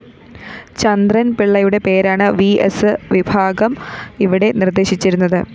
ചന്ദ്രന്‍ പിള്ളയുടെ പേരാണ്‌ വിഎസ്‌ വിഭാഗം ഇവിടെ നിര്‍ദ്ദേശിച്ചിരുന്നത്‌